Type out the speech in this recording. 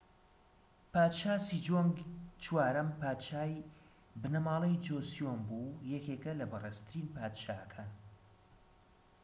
پادشا سیجۆنگ چوارەم پادشای بنەماڵەی جۆسیۆن بوو و یەکێکە لە بەڕێزترین پادشاکان